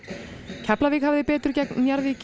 Keflavík hafði betur gegn Njarðvík í